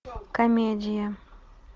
комедия